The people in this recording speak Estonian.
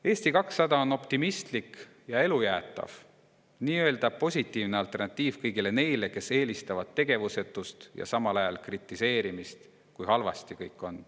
Eesti 200 on optimistlik ja elujaatav, nii-öelda positiivne alternatiiv kõigile neile, kes eelistavad tegevusetust ja samal ajal kritiseerimist, kui halvasti kõik on.